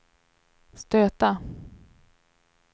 stöta